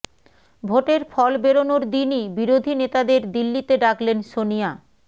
ভোটের ফল বেরনোর দিনই বিরোধী নেতাদের দিল্লিতে ডাকলেন সনিয়া